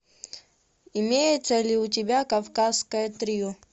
имеется ли у тебя кавказское трио